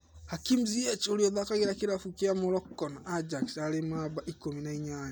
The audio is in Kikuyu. Hakim Ziyech ũria ũthakagira kĩravũkĩa Morocco na Ajax arĩ numba ikũmi na inyanya.